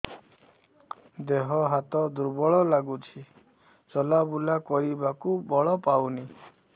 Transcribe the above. ଦେହ ହାତ ଦୁର୍ବଳ ଲାଗୁଛି ଚଲାବୁଲା କରିବାକୁ ବଳ ପାଉନି